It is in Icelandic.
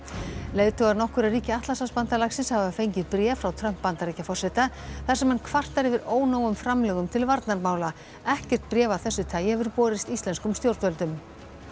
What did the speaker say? leiðtogar nokkurra ríkja Atlantshafsbandalagsins hafa fengið bréf frá Trump Bandaríkjaforseta þar sem hann kvartar yfir ónógum framlögum ríkjanna til varnarmála ekkert bréf af þessu tagi hefur borist íslenskum stjórnvöldum